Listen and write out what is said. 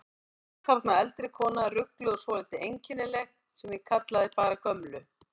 Svo var þarna eldri kona, rugluð og svolítið einkennileg, sem ég kallaði bara gömlu.